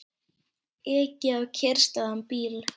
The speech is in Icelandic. Ekið á kyrrstæðan bíl